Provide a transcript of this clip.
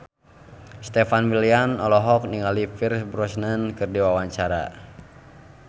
Stefan William olohok ningali Pierce Brosnan keur diwawancara